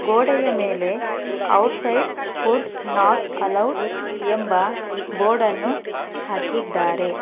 ಗೋಡೆಯ ಮೇಲೆ outside food not allowed ಎಂಬ ಬೋರ್ಡ್ ಅನ್ನು ಹಾಕಿದ್ದಾರೆ.